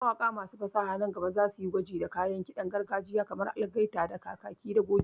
Mawaƙa masu fasaha nan gaba za su yi gwaji da kayan ƙiɗan gargajiya kamar algaita da kakaki da goge.